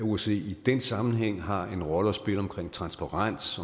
osce i den sammenhæng har en rolle at spille omkring transparens